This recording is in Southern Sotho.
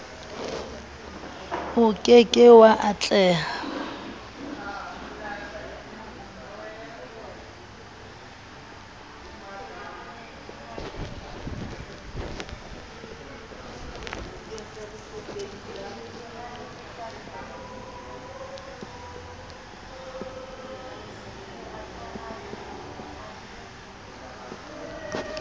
o ke ke wa atleha